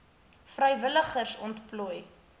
vrywilligers ontplooi